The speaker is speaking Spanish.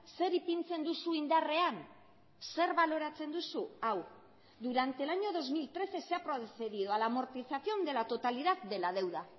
zer ipintzen duzu indarrean zer baloratzen duzu hau durante el año dos mil trece se ha procedido a la amortización de la totalidad de la deuda